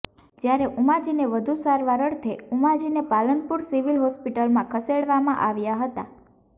જ્યારે ઉમાજીને વધુ સારવાર અર્થે ઉમાજીને પાલનપુર સિવિલ હોસ્પિટલમાં ખસેડવામાં આવ્યા હતા